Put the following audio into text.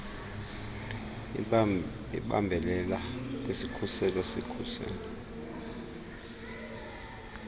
ibambelele kwisikhuselo sesikhuselo